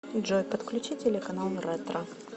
джой подключи телеканал ретро